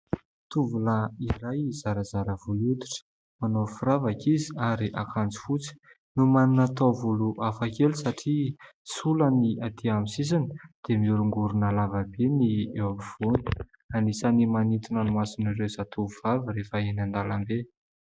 Tovolahy iray zarazara volon-koditra manao firavaka izy ary akanjo fotsy no manana taovolo hafakely satria sola ny atỳ aminy sisiny, dia miorongorona lavabe ny eo afovoany. Anisan'ny manintona ny mason'ireo zatovovavy rehefa eny an-dalambe.